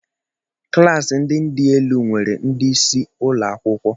Klas ndị dị elu nwere ndị isi ụlọ akwụkwọ.